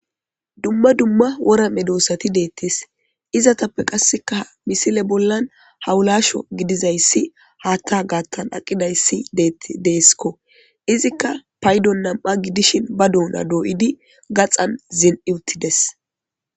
Dumma dumma wora medossati deettes. Izetappe qasseka misile bollan hawulasho gidizayssi haatta gaattan aqidayssi deetti deesko. Izikka paydo nam7a gidishin ba doona dooyidi gaxan zin7iutides.